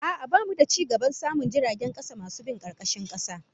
A'a, bamu da cigaban samun jiragen kasa masu bin karkashin kasa